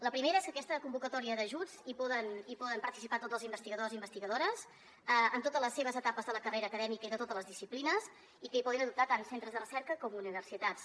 la primera és que en aquesta convocatòria d’ajuts hi poden participar tots els investigadors i investigadores en totes les seves etapes de la carrera acadèmica i de totes les disciplines i que hi poden optar tant centres de recerca com universitats